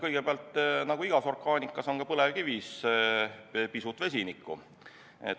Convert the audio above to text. Kõigepealt, nagu igas orgaanikas on ka põlevkivis pisut vesinikku.